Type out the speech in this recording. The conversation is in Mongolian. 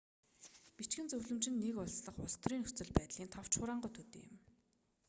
бичгэн зөвлөмж нь нэг улс дахь улс төрийн нөхцөл байдлын товч хураангуй төдий юм